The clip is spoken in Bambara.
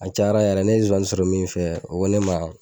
A caya yɛrɛ ne zonzani sɔrɔ min fɛ o ko ne ma